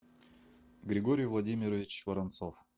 григорий владимирович воронцов